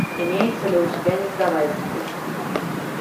имеется ли у тебя не сдавайся